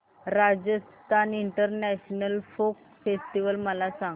Rajasthan international folk festival मला सांग